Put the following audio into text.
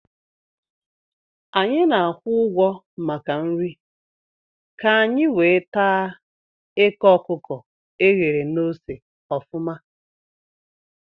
Anyị na-akwụ ụgwọ maka nri nri ka-anyi wee taa eke okuko eghere na ose ofuma